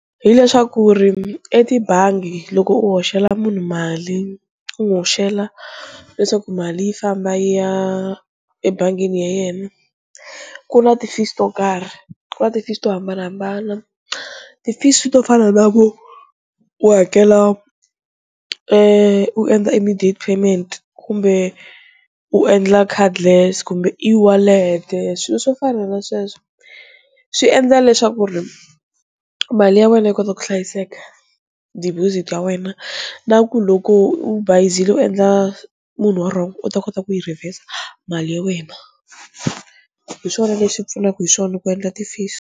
Hi leswaku ri etibangi loko u hoxela munhu mali u n'wi hoxela leswaku mali yi famba yi ya ebangini ya yena ku na ti-fees to karhi ku na ti-fees to hambanahambana, ti-fees to fana na ku u hakela e u endla immediate payment kumbe u endla card less kumbe e-wallet-e, swilo swo fana na sweswo swi endla leswaku ri mali ya wena yi kota ku hlayiseka deposit ya wena na ku loko u bayizile u endla munhu wa wrong u ta kota ku yi reverse mali ya wena, hi swona leswi pfunaka hi swona ku endla ti-fees.